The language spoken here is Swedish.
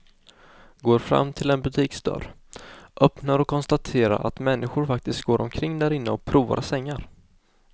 Går fram till en butiksdörr, öppnar och konstaterar att människor faktiskt går omkring därinne och provar sängar.